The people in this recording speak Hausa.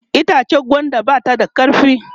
itchen gwanda ba ta da karfi